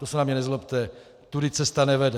To se na mě nezlobte, tudy cesta nevede.